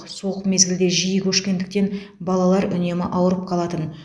суық мезгілде жиі көшкендіктен балалар үнемі ауырып қалатын